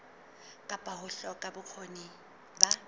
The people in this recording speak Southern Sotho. kapa ho hloka bokgoni ba